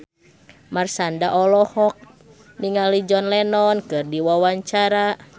Marshanda olohok ningali John Lennon keur diwawancara